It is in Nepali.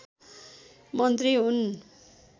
मन्त्री हुन्